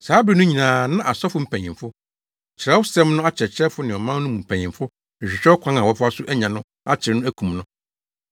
Saa bere no nyinaa na asɔfo mpanyimfo, Kyerɛwsɛm no akyerɛkyerɛfo ne ɔman no mu mpanyimfo rehwehwɛ ɔkwan a wɔbɛfa so anya no akyere no akum no.